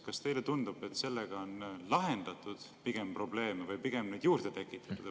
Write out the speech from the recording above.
Kas teile tundub, et sellega lahendati probleeme või pigem tekitati neid juurde?